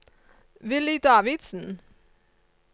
Villy Davidsen